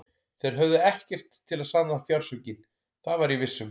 Þeir höfðu ekkert til að sanna fjársvikin, það var ég viss um.